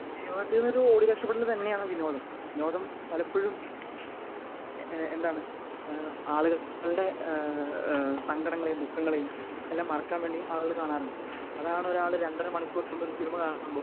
ജീവിതത്തിൽ നിന്ന് ഒരു രക്ഷപ്പെടൽ തന്നെയാണ് വിനോദം. വിനോദം പലപ്പഴും ഏഹ് എന്താണ് ഏഹ് ആളുകളുടെ ഏഹ് സങ്കടങ്ങളെയും ദുഃഖങ്ങളെയും എല്ലാം മറക്കാൻ വേണ്ടി ആളുകൾ കാണാറുണ്ട്. അതാണ് ഒരാൾ രണ്ടര മണിക്കൂറോളം കൂടുതൽ സിനിമ കാണുമ്പോൾ